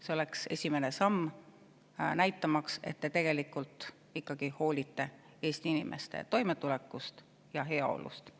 See oleks esimene samm, näitamaks, et te tegelikult ikkagi hoolite Eesti inimeste toimetulekust ja heaolust.